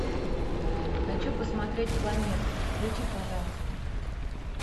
хочу посмотреть планеты включи пожалуйста